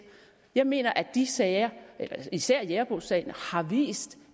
jeg mener at de sager især jægerbogssagen har vist